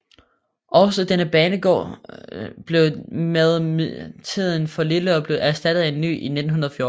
Også denne banegård blev med tiden for lille og blev erstattet af en ny i 1914